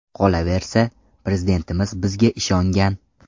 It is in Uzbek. Qolaversa, Prezidentimiz bizga ishongan.